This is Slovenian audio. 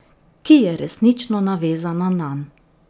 Ki je resnično navezana nanj.